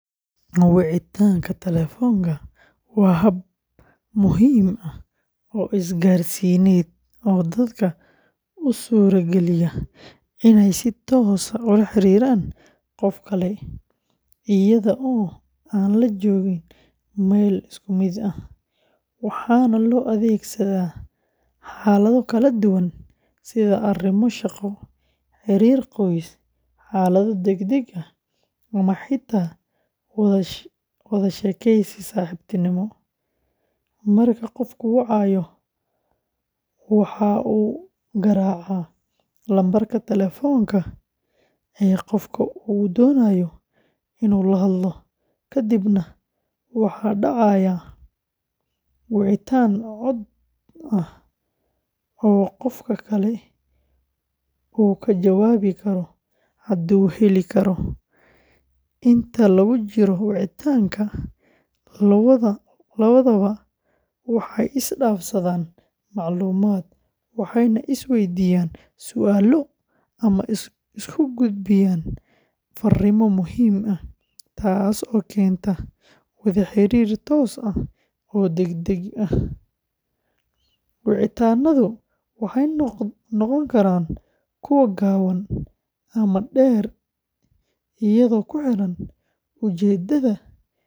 Wicitaanka telefoonka waa hab muhiim ah oo isgaarsiineed oo dadka u suurageliya inay si toos ah ula xiriiraan qof kale iyada oo aan la joogin meel isku mid ah, waxaana loo adeegsadaa xaalado kala duwan sida arrimo shaqo, xiriir qoys, xaalado degdeg ah ama xitaa wada sheekeysi saaxiibtinimo. Marka qofku wacayo, waxa uu garaacaa lambarka telefoonka ee qofka uu doonayo inuu la hadlo, ka dibna waxaa dhacaya wicitaan cod ah oo qofka kale uu ka jawaabi karo hadduu heli karo. Inta lagu jiro wicitaanka, labadaba waxay isdhaafsadaan macluumaad, waxayna isweydiiyaan su’aalo ama isku gudbiyaan fariimo muhiim ah, taas oo keenta wada xiriir toos ah oo degdeg ah. Wicitaannadu waxay noqon karaan kuwo gaaban ama dheer iyadoo ku xiran ujeeddada.